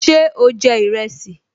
Ṣé o jẹ ìrẹsì?